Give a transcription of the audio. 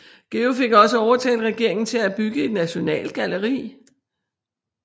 Georg fik også overtalt regeringen til at bygge et nationalgalleri